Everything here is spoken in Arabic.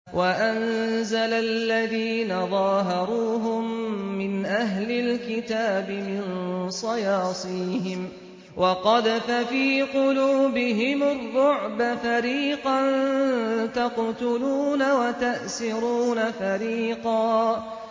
وَأَنزَلَ الَّذِينَ ظَاهَرُوهُم مِّنْ أَهْلِ الْكِتَابِ مِن صَيَاصِيهِمْ وَقَذَفَ فِي قُلُوبِهِمُ الرُّعْبَ فَرِيقًا تَقْتُلُونَ وَتَأْسِرُونَ فَرِيقًا